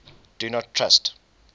do not trust